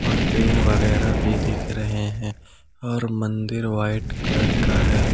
और पेड़ वगैरा भी दिख रहे है और मंदिर व्हाइट कलर का है।